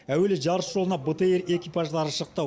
әуелі жарыс жолына бтр экипаждары шықты